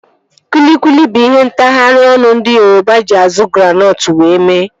Kwilikwili bụ ihe ntagharị ọnụ ndị Yoroba eji azu granọtụ wee mee